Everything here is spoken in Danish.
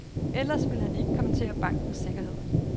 Ellers vil han ikke kommentere bankens sikkerhed.